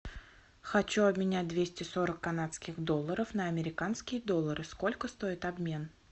хочу обменять двести сорок канадских долларов на американские доллары сколько стоит обмен